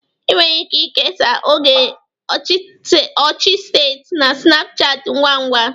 Ị nwere ike kesaa oge ọchị site na snapchat ngwa ngwa